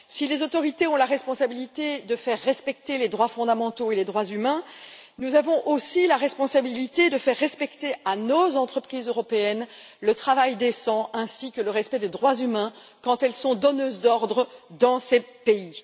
Si les autorités ont la responsabilité de faire respecter les droits fondamentaux et les droits de l'homme, nous avons aussi la responsabilité de faire respecter à nos entreprises européennes le travail décent ainsi que le respect des droits de l'homme, quand elles sont donneuses d'ordre dans ces pays.